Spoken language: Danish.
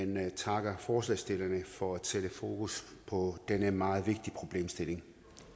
men takker forslagsstillerne for at sætte fokus på den her meget vigtige problemstilling